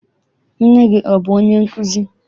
Nne gị abụ onye nkụzi?